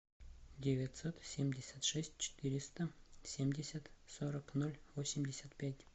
девятьсот семьдесят шесть четыреста семьдесят сорок ноль восемьдесят пять